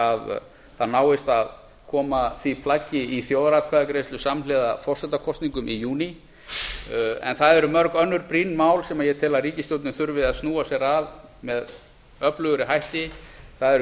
að það náist að koma því plaggi í þjóðaratkvæðagreiðslu samhliða forsetakosningum í júní en það eru mörg önnur brýn mál sem ég tel að ríkisstjórnin þurfi að snúa sér að með öflugri hætti það eru